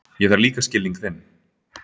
Ég þarf líka skilning þinn.